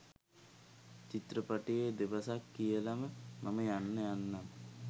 චිත්‍රපටයේ දෙබසක් කියලම මම යන්න යන්නම්.